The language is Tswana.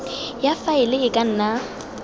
ya faele e ka nna